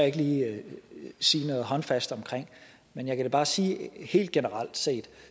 ikke lige sige noget håndfast omkring men jeg kan da bare sige helt generelt set